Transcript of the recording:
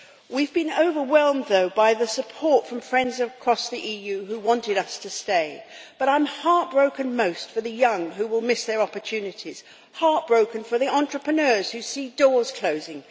We've been overwhelmed by the support from friends across the EU who wanted us to stay, but I'm heartbroken most for the young, who will miss their opportunities heartbroken for the entrepreneurs who see doors closing